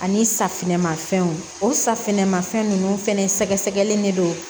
Ani safinɛmafɛnw o safinɛ ma fɛn ninnu fɛnɛ sɛgɛsɛgɛli de don